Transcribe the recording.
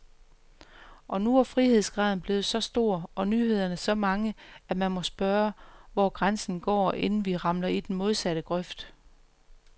Og nu er frihedsgraden blevet så stor, og nyhederne så mange, at man må spørge, hvor grænsen går, inden vi ramler i den modsatte grøft.